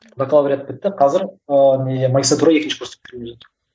бакалавриат бітті қазір ыыы не магистратура екінші курсты бітіргелі жатырмын